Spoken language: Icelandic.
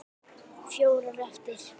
Fjórar eftir.